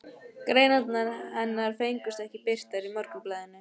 Greinarnar hennar fengust ekki birtar í Morgunblaðinu.